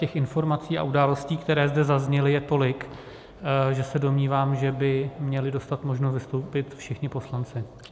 Těch informací a událostí, které zde zazněly, je tolik, že se domnívám, že by měli dostat možnost vystoupit všichni poslanci.